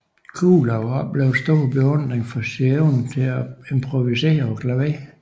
Kuhlau oplevede stor beundring for sin evne til at improvisere på klaveret